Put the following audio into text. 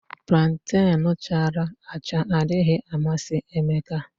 Planten chara acha adịghị amasị Emeka